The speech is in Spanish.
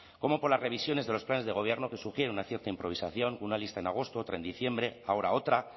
como por las revisiones de los planes de gobierno que sugiere una cierta improvisación con una lista en agosto otra en diciembre ahora otra